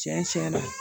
Tiɲɛ tiɲɛ na